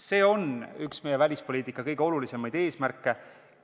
See on üks meie välispoliitika kõige olulisemaid eesmärke.